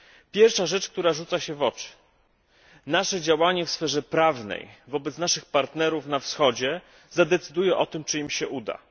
Pierwsza rzecz, która rzuca się w oczy nasze działanie wsferze prawnej wobec naszych partnerów na Wschodzie zadecyduje o tym, czy im się uda.